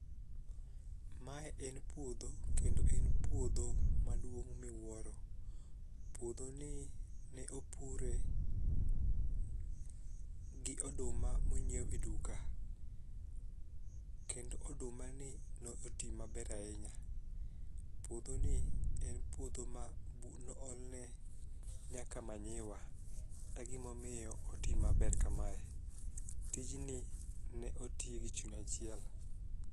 Mae en puodho kendop en puodho maduong' miwuoro. Puodhoni ne opure gi oduma monyiew e duka, kendo odumani noti maber ahinya. Puodhoni en puodho manoolne nyaka manyiwa e gimomiyo oti maber kamae, tijni ne oti gi chuny achiel.